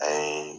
A ye